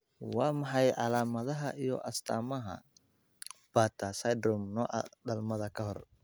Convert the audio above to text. Waa maxay calaamadaha iyo astaamaha Bartter syndrome nooca dhalmada ka hor?